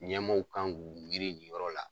Ɲɛmaaw kan k'u miiri nin yɔrɔ la.